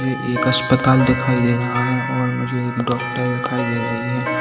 एक अस्पताल दिखाई दे रहा है और मुझे एक डॉक्टर दिखाई दे रही है।